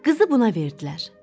Qızı buna verdilər.